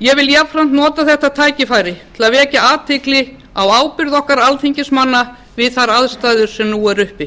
ég vil jafnframt nota þetta tækifæri til að vekja athygli á ábyrgð okkar alþingismanna við þær aðstæður sem nú eru uppi